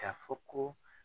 K'a fɔ ko